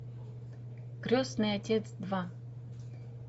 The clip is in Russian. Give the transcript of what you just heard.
крестный отец два